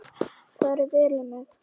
Farið vel um mig?